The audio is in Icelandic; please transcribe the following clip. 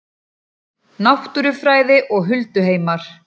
Náttúrufræði og hulduheimar